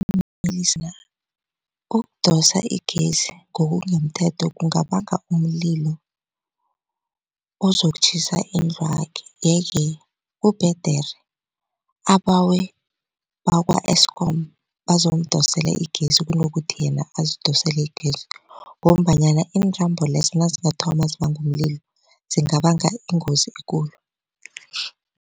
Ukudosa igezi ngokungemthetho kungabanga umlilo ozokutjhisa indlwakhe yeke kubhedere abawe bakwa-E_S_K_O_M bazomdosela igezi kunokuthi yena azidosele igezi ngombanyana intambo lezo nazingathoma zibange umlilo zingabanga ingozi ekulu.